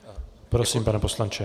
Prosím, pane poslanče.